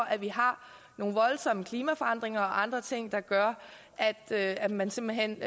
at vi har nogle voldsomme klimaforandringer og andre ting der gør at at man simpelt hen